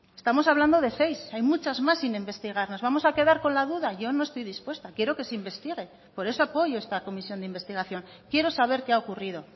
estamos hablando de seis hay muchas más sin investigar nos vamos a quedar con la duda yo no estoy dispuesta quiero que se investigue por eso apoyo esta comisión de investigación quiero saber qué ha ocurrido